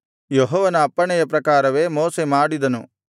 ಯೆಹೋವನ ಅಪ್ಪಣೆಯ ಪ್ರಕಾರವೇ ಮೋಶೆ ಮಾಡಿದನು